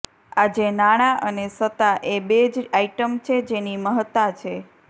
આજે નાણાં અને સત્તા એ બે જ આઇટમ છે જેની મહત્તા છે